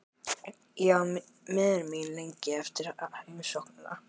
Ég var miður mín lengi eftir heimsóknina.